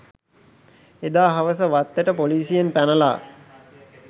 එදා හවස වත්තට පොලිසියෙන් පැනලා